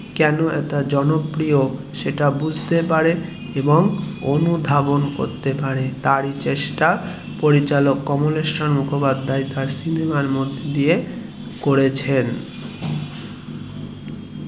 কেন এতো জনপ্রিয় বুঝতে পারে এবং অনুধাবন করতে পারে তার ই চেষ্টা পরিচালক কমলেশ্বর মুখোপাধ্যায় তার সিনেমার মধ্যে দিয়ে করেছেন.